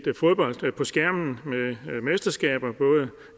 fodbold på skærmen med mesterskaber både